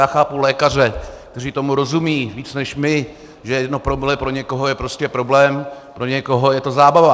Já chápu lékaře, kteří tomu rozumí víc než my, že jedno promile pro někoho je prostě problém, pro někoho je to zábava.